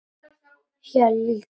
Heldur hvað?